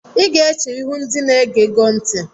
Ị ga-eche ihu ndị na-ege go ntị!